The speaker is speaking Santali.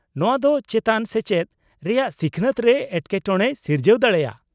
-ᱱᱚᱶᱟ ᱫᱚ ᱪᱮᱛᱟᱱ ᱥᱮᱪᱮᱫ ᱨᱮᱭᱟᱜ ᱥᱤᱠᱷᱱᱟᱹᱛ ᱨᱮ ᱮᱴᱠᱮᱴᱚᱬᱮᱭ ᱥᱤᱨᱡᱟᱹᱣ ᱫᱟᱲᱮᱭᱟᱜᱼᱟ ᱾